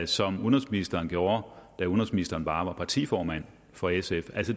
som udenrigsministeren gjorde da udenrigsministeren bare var partiformand for sf